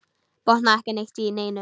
Botnaði ekki neitt í neinu.